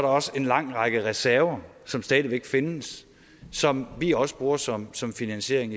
også en lang række reserver som stadig væk findes som vi også bruger som som finansiering